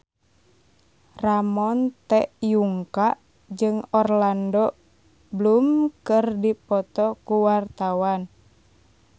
Ramon T. Yungka jeung Orlando Bloom keur dipoto ku wartawan